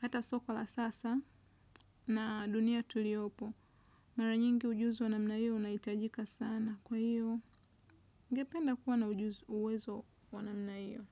hata soko la sasa na dunia tuliyopo. Mara nyingi ujuzi wa namna hiyo unahitajika sana kwa hiyo ningependa kuwa na uwezo wa namna hiyo.